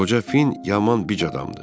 qoca fin yaman bic adamdır.